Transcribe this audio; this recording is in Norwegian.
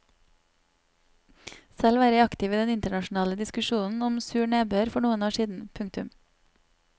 Selv var jeg aktiv i den internasjonale diskusjonen om sur nedbør for noen år siden. punktum